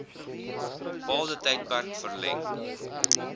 bepaalde tydperk verleng